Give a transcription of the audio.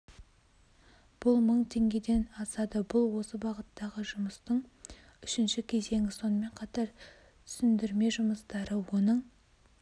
бұл мың теңгеден асады бұл осы бағыттағы жұмыстың үшінші кезеңі сонымен қатар түсіндірме жұмыстары оның